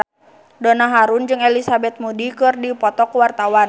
Donna Harun jeung Elizabeth Moody keur dipoto ku wartawan